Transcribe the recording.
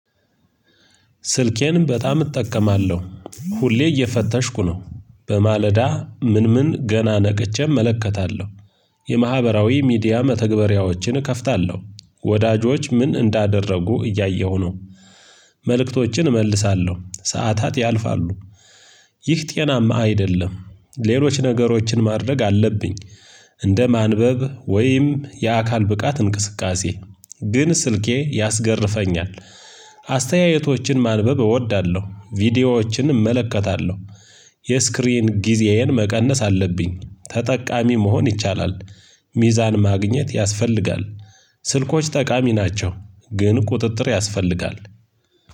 ስልኬን በጣም እጠቀማለሁ ሁሌ እየፈተሽኩ ነው በማለዳ ምን ምን ገና ነቅቼ እመለከታለሁ። የማህበራዊ ሚዲያ መተግበሪያዎችን እከፍታለሁ ወዳጆች ምን እንዳደረጉ እያየሁ ነው። መልእክቶችን እመልሳለሁ ሰዓታት ያልፋሉ። ይህ ጤናማ አይደለም። ሌሎች ነገሮችን ማድረግ አለብኝ። እንደ ማንበብ ወይም የአካል ብቃት እንቅስቃሴ ግን ስልኬ ያስገርፈኛል። አስተያየቶችን ማንበብ እወዳለሁ ቪዲዮዎችን እመለከታለሁ። የስክሪን ጊዜዬን መቀነስ አለብኝ ተጠቃሚ መሆን ይቻላል። ሚዛን ማግኘት ያስፈልጋል። ስልኮች ጠቃሚ ናቸው። ግን ቁጥጥር ያስፈልጋል።